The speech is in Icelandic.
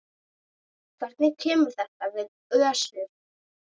Hvernig kemur þetta við Össur?